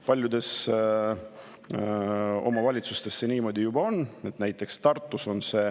Paljudes omavalitsustes see niimoodi juba on, näiteks Tartus.